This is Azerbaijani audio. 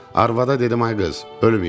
Arvada dedim ay qız, ölməyib.